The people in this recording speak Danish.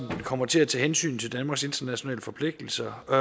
kommer til at tage hensyn til danmarks internationale forpligtelser og